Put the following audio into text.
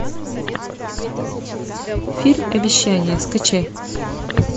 фильм обещание скачай